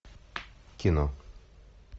кино